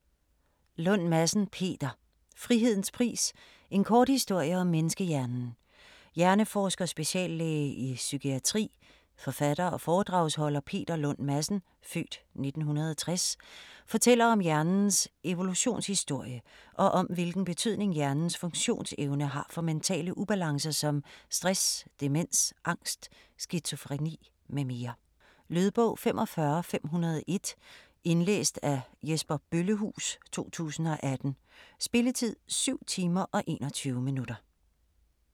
Lund Madsen, Peter: Frihedens pris - en kort historie om menneskehjernen Hjerneforsker, speciallæge i psykiatri, forfatter og foredragsholder Peter Lund Madsen (f. 1960) fortæller om hjernens evolutionshistorie, og om hvilken betydning hjernens funktionsevne har for mentale ubalancer som stress, demens, angst, skizofreni mm. Lydbog 45501 Indlæst af Jesper Bøllehuus, 2018. Spilletid: 7 timer, 21 minutter.